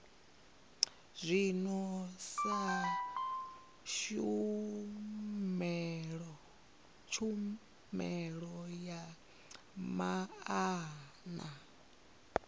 zwino sa tshumelo ya maana